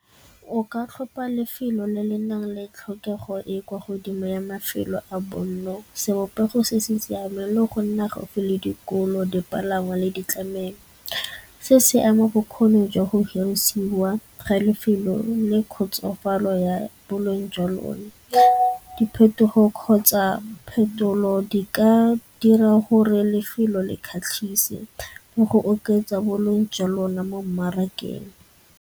O ka tlhopa lefelo le le nang le tlhokego e e kwa godimo ya mafelo a bonno, sebopego se se siameng le go nna gaufi le dikolo dipalangwa le ditlamelo. Se se ama bokgoni jwa go dirisiwa ga lefelo le kgotsofalo ya boleng jwa lone. Diphetogo kgotsa phetolo di ka dira gore lefelo le kgatlhise le go oketsa boleng jwa lone mo mmarakeng.